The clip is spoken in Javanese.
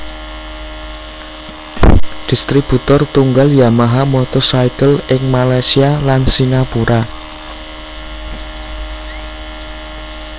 Distributor tunggal Yamaha Motorcycle ing Malaysia lan Singapura